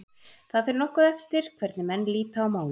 Það fer nokkuð eftir hvernig menn líta á málið.